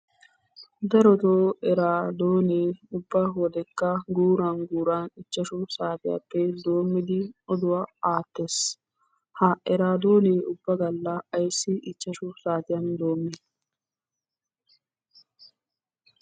Darotoo eraadoonee ubba wodekka guuran guuran ichchashu saatiyaappe doommidi oduwaa aattees. Ha eraadonee ubba galla ayssi ichchashu saatiyan doommi?